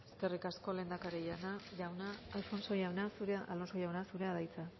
eskerrik asko lehendakari jauna alonso jauna zurea da hitza